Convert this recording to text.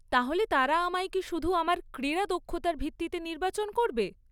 তাহলে তারা আমায় কি শুধু আমার ক্রীড়া দক্ষতার ভিত্তিতে নির্বাচন করবে?